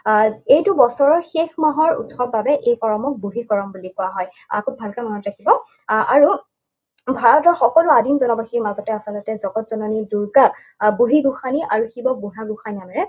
আহ এইটো বছৰৰ শেষ মাহৰ উৎসৱ বাবে এই কৰমক বুঢ়ী কৰম বুলি কোৱা হয়। আহ খুব ভালকে মনত ৰাখিব। আহ আৰু ভাৰতৰ সকলো আদিম জনবাসীৰ মাজতে আচলতে জগতজননীৰ যি বুঢ়ী গোসাঁনী আৰু শিৱক বুঢ়া গোঁসাই নামেৰে